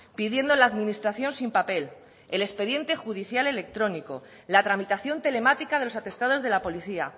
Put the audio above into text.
pidiendo la administración sin papel el expediente judicial electrónico la tramitación telemática de los atestados de la policía